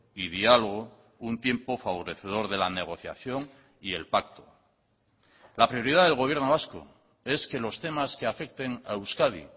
y diálogo un tiempo favorecedor de la negociación y el pacto la prioridad del gobierno vasco es que los temas que afecten a euskadi